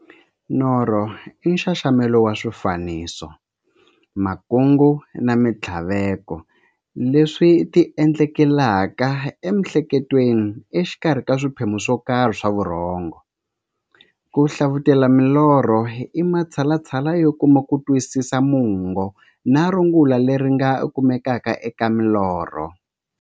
Norho i nxaxamelo wa swifaniso, makungu na minthlaveko leswi ti endlekelaka e miehleketweni exikarhi ka swiphemu swokarhi swa vurhongo. Ku hlavutela milorho i matshalatshala yo kuma kutwisisa mungo na rungula leri nga kumekaka eka milorho.